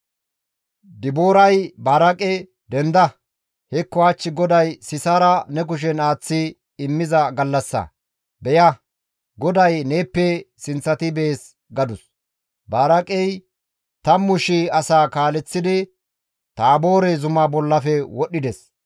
Dibooray Baraaqe «Denda! Hekko hach GODAY Sisaara ne kushen aaththi immiza gallassa. Beya! GODAY neeppe sinththati bees» gadus; Baraaqey tammu shii asaa kaaleththidi Taaboore zuma bollafe wodhdhides.